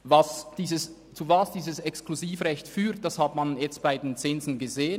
Wozu dieses Exklusivrecht führt, hat man nun bei den Zinsen gesehen.